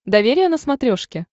доверие на смотрешке